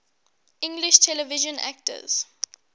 english television actors